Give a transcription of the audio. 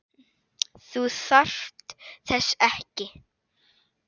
Þú þarft þess ekki.